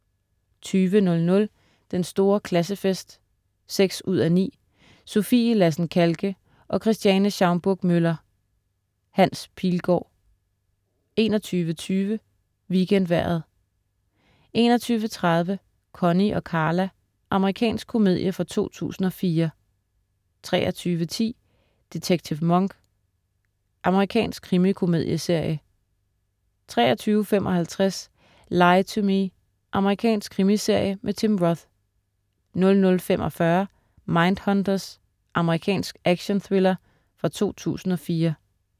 20.00 Den Store Klassefest. 6:9 Sofie Lassen-Kahlke og Christiane Schaumburg-Müller. Hans Pilgaard 21.20 WeekendVejret 21.30 Connie & Carla, Amerikansk komedie fra 2004 23.10 Detektiv Monk. Amerikansk krimikomedieserie 23.55 Lie to Me. Amerikansk krimiserie med Tim Roth 00.45 Mindhunters. Amerikansk actionthriller fra 2004